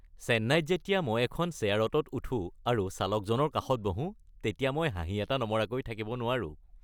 চেন্নাইত যেতিয়া মই এখন শ্বেয়াৰ অ'টোত উঠো আৰু চালকজনৰ কাষত বহো তেতিয়া মই হাঁহি এটা নমৰাকৈ থাকিব নোৱাৰো।